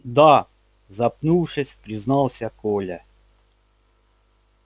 да запнувшись признался коля